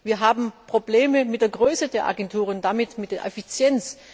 Wir haben Probleme mit der Größe der Agenturen und damit mit ihrer Effizienz.